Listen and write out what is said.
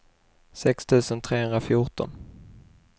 sex tusen trehundrafjorton